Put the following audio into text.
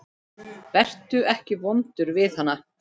Vertu ekki vondur við hana.